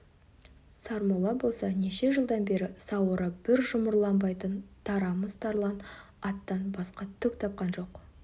сармолла болса неше жылдан бері сауыры бір жұмырланбайтын тарамыс тарлан аттан басқа түк тапқан жоқ